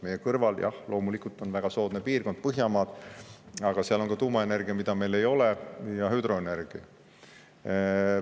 Meie kõrval, jah loomulikult, on väga soodne piirkond, Põhjamaad, aga seal on ka tuumaenergia, mida meil ei ole, ja hüdroenergia.